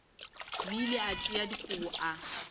bile a tšea dikobo o